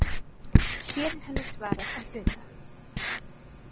Hér er henni svarað að hluta.